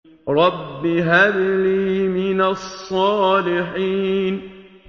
رَبِّ هَبْ لِي مِنَ الصَّالِحِينَ